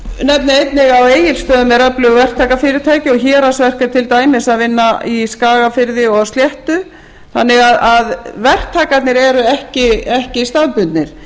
nefni einnig að á egilsstöðum eru öflug verktakafyrirtæki og héraðsverk er til dæmis að vinna í skagafirði og á sléttu þannig að verktakarnir eru ekki staðbundnir